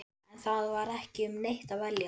En það var ekki um neitt að velja.